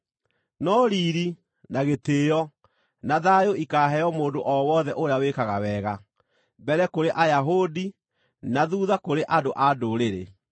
no riiri, na gĩtĩĩo, na thayũ ikaaheo mũndũ o wothe ũrĩa wĩkaga wega: mbere kũrĩ Ayahudi, na thuutha kũrĩ andũ-a-Ndũrĩrĩ.